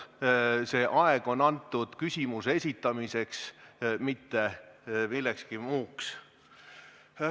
See aeg on antud küsimuse esitamiseks, mitte millekski muuks.